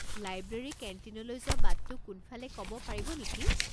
Library কেণ্টিনলৈ যোৱা বাটটো কোনফালে ক'ব পাৰিব নেকি?